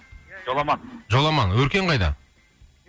жоламан жоламан өркен қайда